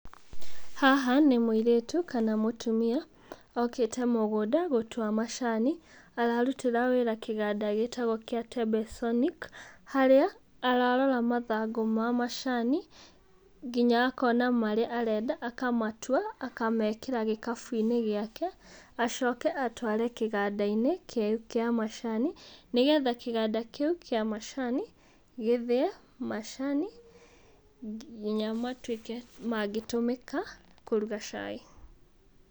Haha nĩ mũirĩtu kana mũtumia, okĩte mũgũnda gũtua macani, Ararutĩra wĩra kĩganda gĩtagwo gĩa, harĩa ararora mathangũ ma macani, nginya akona marĩa arenda akamatua akamekĩra gĩkabũ-inĩ gĩake, acoke atware kĩganda-inĩ kĩu kĩa macani, nĩgetha kĩganda kĩug ĩa macani gĩthĩe macani, ngiya matuĩke mangĩtũmĩka kũruga cai.